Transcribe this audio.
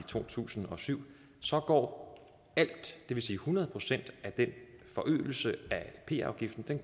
to tusind og syv går alt det vil sige hundrede procent af den forøgelse af p afgiften til